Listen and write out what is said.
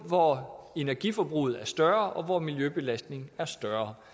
hvor energiforbruget er større og hvor miljøbelastningen er større